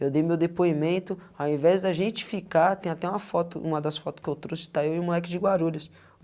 Eu dei meu depoimento, ao invés da gente ficar, tem até uma foto, uma das foto que eu trouxe, está eu e o moleque de guarulhos.